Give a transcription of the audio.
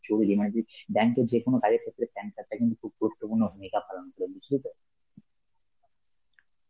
জরুরী, মানে তুই bank এর যে কোন কাজে তোকে PAN card টা কিন্তু খুব গুরুত্বপূর্ণ ভূমিকা পালন করে, বুঝলি তো?